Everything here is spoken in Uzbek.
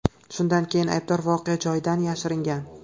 Shundan keyin aybdor voqea joyidan yashiringan.